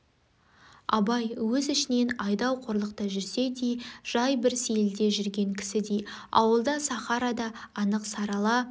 абай өз ішінен айдау қорлықта жүрсе де жай бір сейілде жүрген кісідей ауылда сахарада анық сарала